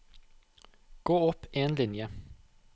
Gå opp en linje